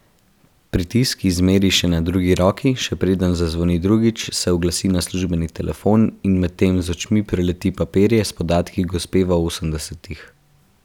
Pritisk ji izmeri še na drugi roki, še preden zazvoni drugič, se oglasi na službeni telefon in medtem z očmi preleti papirje s podatki gospe v osemdesetih.